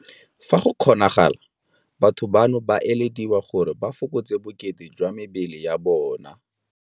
Fa go kgonagalang batho bano ba elediwa gore ba fokotse bokete jwa mebele ya bona.